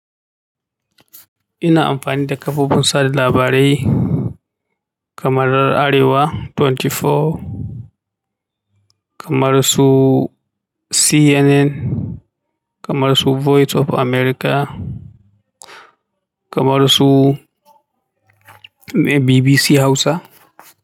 Ina amfani da kafofin sada labarai kamar Arewa 24, kamar su CNN, kamar su Voice of America, kamar su BBC Hausa.